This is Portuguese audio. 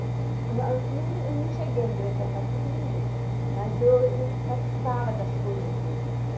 Eu não cheguei a ingressar em partido nenhum, mas eu participava das coisas deles.